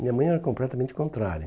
Minha mãe era completamente contrária.